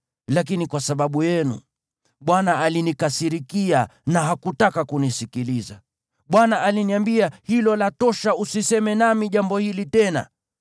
Lakini kwa sababu yenu Bwana alinikasirikia na hakutaka kunisikiliza. Bwana aliniambia, “Hilo latosha; usiseme nami jambo hili tena.